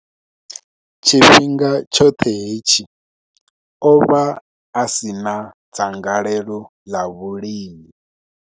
Tshifhinga tshoṱhe hetshi, o vha a si na dzangalelo ḽa vhulimi.